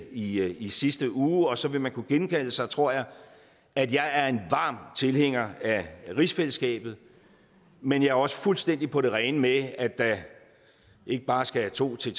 i i sidste uge og så vil man kunne genkalde sig tror jeg at jeg er en varm tilhænger af rigsfællesskabet men jeg er også fuldstændig på det rene med at der ikke bare skal to til